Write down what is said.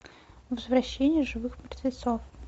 возвращение живых мертвецов